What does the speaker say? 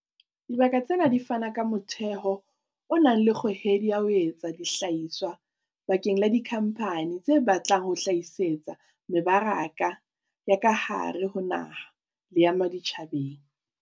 Dibaka tsena di fana ka motheo o nang le kgohedi ya ho etsa dihlahiswa bakeng la dikhampani tse batlang ho hlahisetsa mebaraka ya ka hare ho naha le ya ma tjhabeng.